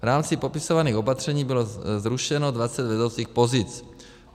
V rámci popisovaných opatření bylo zrušeno 20 vedoucích pozic.